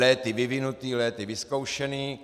Léty vyvinutý, léty vyzkoušený.